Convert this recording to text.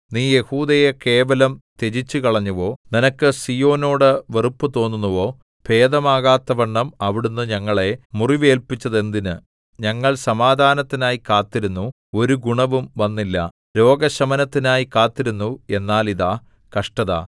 നീ യെഹൂദയെ കേവലം ത്യജിച്ചുകളഞ്ഞുവോ നിനക്ക് സീയോനോട് വെറുപ്പു തോന്നുന്നുവോ ഭേദമാകാത്തവണ്ണം അവിടുന്ന് ഞങ്ങളെ മുറിവേല്പിച്ചതെന്തിന് ഞങ്ങൾ സമാധാനത്തിനായി കാത്തിരുന്നു ഒരു ഗുണവും വന്നില്ല രോഗശമനത്തിനായി കാത്തിരുന്നു എന്നാൽ ഇതാ കഷ്ടത